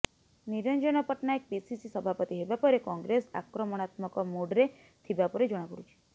Niranjan Patnaik PCC ସଭାପତି ହେବା ପରେ କଂଗ୍ରେସ ଆକ୍ରମଣାତ୍ମକ ମୁଡ୍ରେ ଥିବା ପରି ଜଣାପଡ଼ୁଛି